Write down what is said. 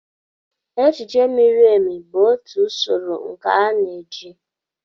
Echiche miri emi bụ otu usoro nkà na-eji.